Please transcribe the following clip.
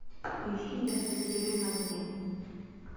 поищи девятая серия на дне